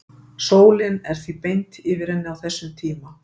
Sólin er því beint yfir henni á þessum tíma.